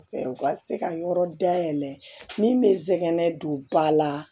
Fɛ u ka se ka yɔrɔ dayɛlɛ min bɛ sɛnɛn don ba la